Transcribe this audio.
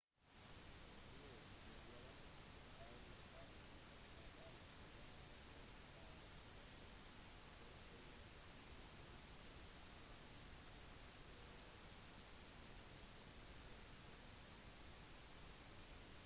vår nåværende erfaring med alle gjør-det-selv læringsbaserte tv-serier som presenterer informasjon illustrerer dette punktet